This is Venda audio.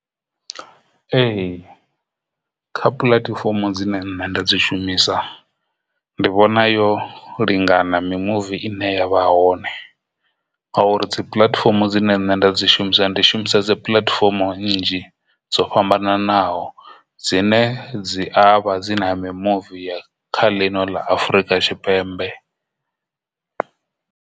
Ee, kha puḽatifomo dzine nṋe nda dzi shumisa ndi vhona yo lingana mimuvi ine yavha hone ngauri dzi puḽatifomo dzine nṋe dza nda dzi shumisa ndi shumisa puḽatifomo nnzhi dzo fhambananaho dzine dzi avha dzi na mimuvi ya kha ḽino ḽa Afurika Tshipembe.